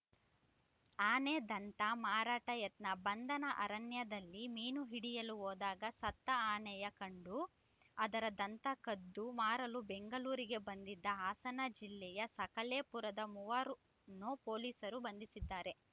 ಆನೆ ದಂತ ಮಾರಾಟ ಯತ್ನ ಬಂಧನ ಅರಣ್ಯದಲ್ಲಿ ಮೀನು ಹಿಡಿಯಲು ಹೋದಾಗ ಸತ್ತ ಆನೆಯ ಕಂಡು ಅದರ ದಂತ ಕದ್ದು ಮಾರಲು ಬೆಂಗಳೂರಿಗೆ ಬಂದಿದ್ದ ಹಾಸನ ಜಿಲ್ಲೆಯ ಸಕಲೇಪುರದ ಮೂವರನ್ನು ಪೊಲೀಸರು ಬಂಧಿಸಿದ್ದಾರೆ